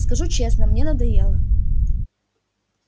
скажу честно мне надоело